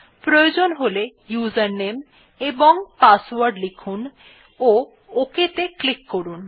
প্রয়োজন হলে ইউজারনেম এবং পাসওয়ার্ড লিখুন এবং OK ত়ে ক্লিক করুন